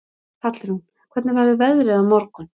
Hallrún, hvernig verður veðrið á morgun?